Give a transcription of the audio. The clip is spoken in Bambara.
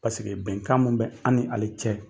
Paseke bɛnkan min bɛ an ni ale cɛ